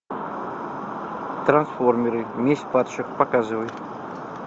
трансформеры месть падших показывай